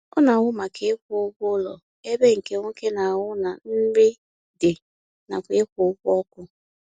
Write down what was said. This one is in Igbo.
Ọ na ahụ maka ịkwụ ụgwọ ụlọ ebe nke nwoke na-ahụ na nri dị nakwa ịkwụ ụgwọ ọkụ